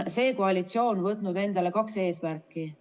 See koalitsioon on võtnud endale kaks eesmärki.